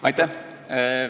Aitäh!